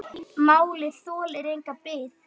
Málið þolir enga bið.